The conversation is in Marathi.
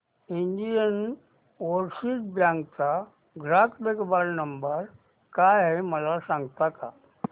इंडियन ओवरसीज बँक चा ग्राहक देखभाल नंबर काय आहे मला सांगता का